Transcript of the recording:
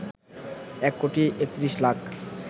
১ কোটি ৩১ লাখ